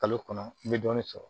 Kalo kɔnɔ n bɛ dɔɔnin sɔrɔ